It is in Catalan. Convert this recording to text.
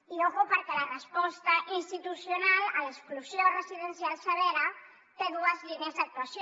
i ojo perquè la resposta institucional a l’exclusió residencial severa té dues línies d’actuació